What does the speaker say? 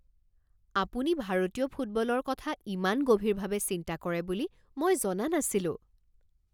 আপুনি ভাৰতীয় ফুটবলৰ কথা ইমান গভীৰভাৱে চিন্তা কৰে বুলি মই জনা নাছিলোঁ।